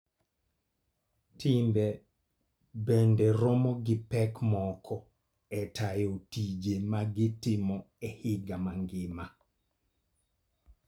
Timbe bende romo gi pek moko e tayo tije ma gitimo e higa mangima.